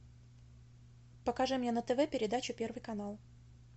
покажи мне на тв передачу первый канал